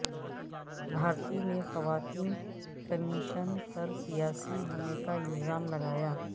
بھارتی نے خواتین کمیشن پر سیاسی ہونے کا الزام لگایا